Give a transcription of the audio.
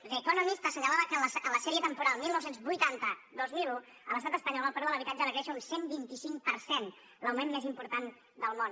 the economist asse·nyalava que en la sèrie temporal dinou vuitanta·dos mil un a l’estat espanyol el preu de l’habitatge va créixer un cent i vint cinc per cent l’augment més important del món